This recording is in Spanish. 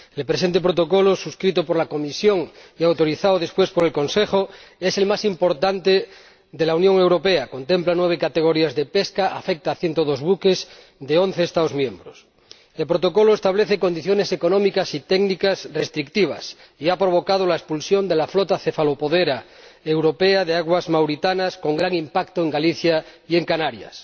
El presente Protocolo, suscrito por la Comisión y autorizado después por el Consejo, es el más importante de la Unión Europea contempla nueve categorías de pesca y afecta a 102 buques de once Estados miembros. El Protocolo establece condiciones económicas y técnicas restrictivas y ha provocado la expulsión de la flota cefalopodera europea de aguas mauritanas, con gran impacto en Galicia y en Canarias